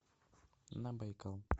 на байкал